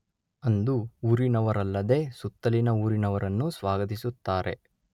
ಅಂದು ಊರಿನವರಲ್ಲದೆ ಸುತ್ತಲಿನ ಊರಿನವರನ್ನು ಸ್ವಾಗತಿಸುತ್ತಾರೆ.